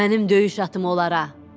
Mənim döyüş atım onlara.